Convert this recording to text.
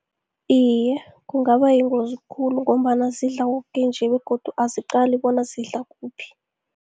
Iye, kungaba yingozi khulu, ngombana zidla koke nje begodu aziqali bona zidla kuphi.